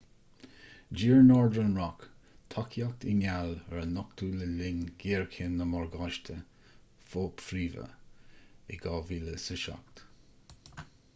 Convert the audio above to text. d'iarr northern rock tacaíocht i ngeall ar a nochtadh le linn ghéarchéim na morgáistí fo-phríomha in 2007